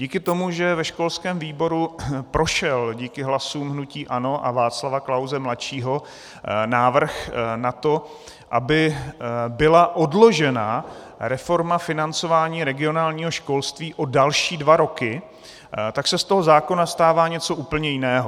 Díky tomu, že ve školském výboru prošel díky hlasům hnutí ANO a Václava Klause mladšího návrh na to, aby byla odložena reforma financování regionálního školství o další dva roky, tak se z toho zákona stává něco úplně jiného.